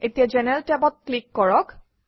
এতিয়া জেনাৰেল টেবত ক্লিক কৰক